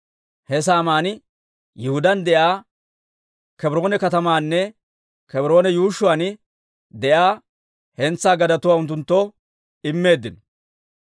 He saaman Yihudaan de'iyaa Kebroone katamaanne Kebroone yuushshuwaan de'iyaa hentsaa gadetuwaa unttunttoo immeeddino;